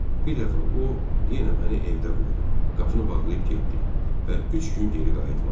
Bir dəfə o yenə məni evdə qoydu, qapını bağlayıb getdi və üç gün geri qayıtmadı.